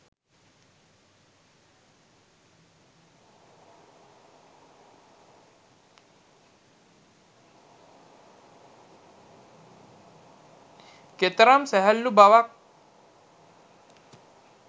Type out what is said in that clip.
කෙතරම් සැහැල්ලු බවක්